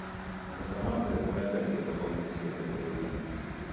Magetha ma mbembe mendagio thoko-inĩ ciothe bũrũri-inĩ